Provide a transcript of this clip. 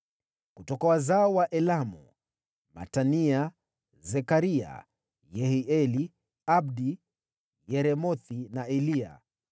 Kutoka wazao wa Elamu: Matania, Zekaria, Yehieli, Abdi, Yeremothi na Eliya.